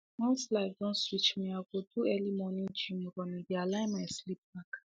once life don switch me i go do early morning gym run e dey align my sleep back